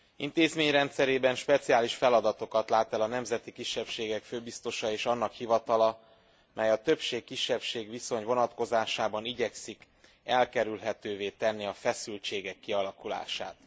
Intézményrendszerében speciális feladatokat lát el a nemzeti kisebbségek főbiztosa és annak hivatala, mely a többség kisebbség viszony vonatkozásában igyekszik elkerülhetővé tenni a feszültségek kialakulását.